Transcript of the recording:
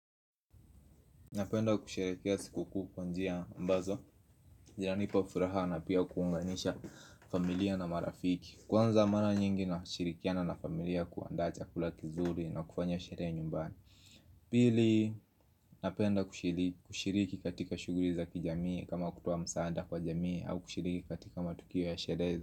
Napenda kushiriki ya sikukuu kwa njia ambazo yaani kwa furaha na pia kuunganisha familia na marafiki. Kwanza mara nyingi nashirikiana na familia kuandaa chakula kizuri na kufanya sherehe nyumbani. Pili napenda kushiriki katika shughuri za kijamii kama kutoa msaada kwa jamii au kushiriki katika matukio ya sherehe.